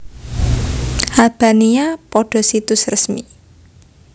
Albania pada situs resmi